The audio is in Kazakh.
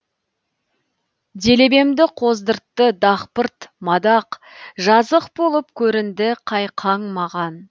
делебемді қоздыртты дақпырт мадақ жазық болып көрінді қайқаң маған